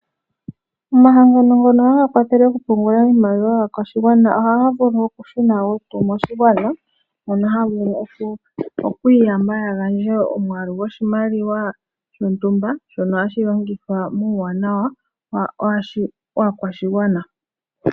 Omahangano ngono haga kwathele okupungula iimaliwa yaakwashigwana ohaga vulu okushuna wo kumwe oshimaliwa, mono haya vulu okwiiyamba ya gandje omwaalu goshimaliwa shontumba shono hashi longithwa nuuwanawa waakwashigwana.